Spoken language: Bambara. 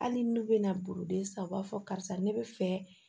Hali n'u bɛna boloden san u b'a fɔ karisa ne bɛ fɛ